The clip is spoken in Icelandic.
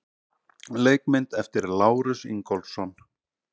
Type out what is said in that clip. Leikmynd eftir Lárus Ingólfsson.